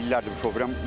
Mən illərdir şoferəm.